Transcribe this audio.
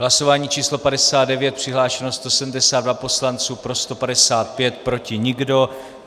Hlasování číslo 59, přihlášeno 172 poslanců, pro 155, proti nikdo.